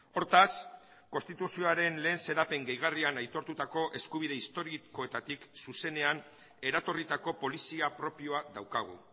hortaz konstituzioaren lehen xedapen gehigarrian aitortutako eskubide historikoetatik zuzenean eratorritako polizia propioa daukagu